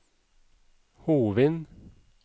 Hovin